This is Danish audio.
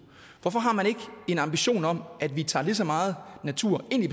hvorfor har man ikke en ambition om at vi tager lige så meget natur ind